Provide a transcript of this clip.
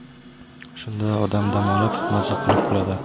Shunda odam dam olib, maza qilib kuladi.